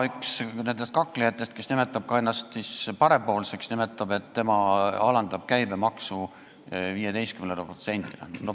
Üks nendest kaklejatest, kes nimetab ennast parempoolseks, väidab, et tema alandab käibemaksu 15%-le.